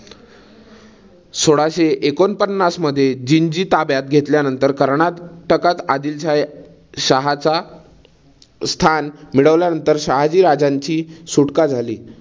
सोळाशे एकोणपन्नासमध्ये जिंजी ताब्यात घेतल्यानंतर कर्नाटकात आदिलशहाच स्थान मिळवल्या नंतर शहाजी राजांची सुटका झाली.